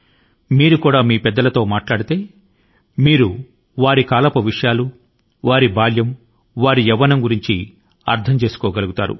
మీరు మీ పెద్దల తో మాట్లాడుతున్నప్పుడు వారి కాలం వారి బాల్యం మరి వారి యవ్వనంలోని పరిస్థితుల గురించి అర్ధం చేసుకోగలుగుతారు